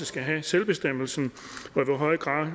skal have selvbestemmelsen og i hvor høj grad